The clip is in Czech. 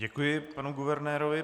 Děkuji panu guvernérovi.